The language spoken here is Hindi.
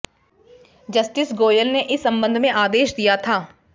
जस्टिस गोयल ने इस संबंध में आदेश दिया था